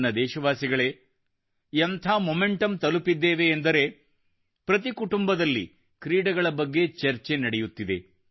ನನ್ನ ದೇಶವಾಸಿಗಳೇ ಎಂಥ ಮೊಮೆಂಟಮ್ ತಲುಪಿದ್ದೇವೆ ಎಂದರೆ ಪ್ರತಿ ಕುಟುಂಬದಲ್ಲಿ ಕ್ರೀಡೆಗಳ ಬಗ್ಗೆ ಚರ್ಚೆ ನಡೆಯುತ್ತಿದೆ